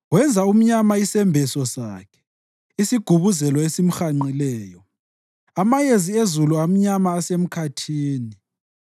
Wenza umnyama isembeso sakhe, isigubuzelo esimhanqileyo, amayezi ezulu amnyama asemkhathini.